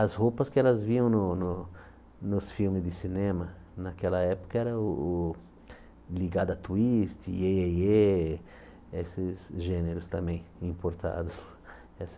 As roupas que elas viam no no nos filmes de cinema, naquela época, era o o liga da twist, iê, iê, iê, esses gêneros também importados. Essa